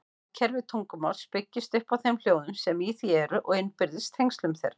Hljóðkerfi tungumáls byggist upp á þeim hljóðum sem í því eru og innbyrðis tengslum þeirra.